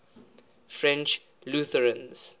french lutherans